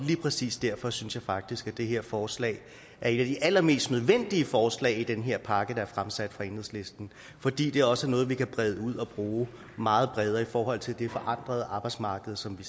præcis derfor synes jeg faktisk at det her forslag er et af de allermest nødvendige forslag i den her pakke der er fremsat af enhedslisten fordi det også er noget vi kan brede ud og bruge meget bredere i forhold til det forandrede arbejdsmarked som vi